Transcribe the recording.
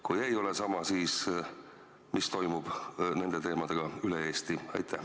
Kui ei ole sama, siis mis toimub nende teemadega üle Eesti?